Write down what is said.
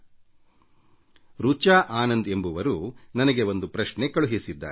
ಒಬ್ಬರು ರಿಚಾ ಆನಂದ್ ಎಂಬುವರು ನನಗೆ ಒಂದು ಪ್ರಶ್ನೆ ಕಳುಹಿಸಿದ್ದಾರೆ